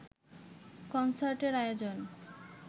কনসার্টের আয়োজন